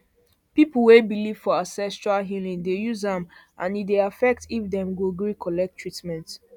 people wey believe for ancestral healing dey use am and e dey affect if dem go gree collect treatment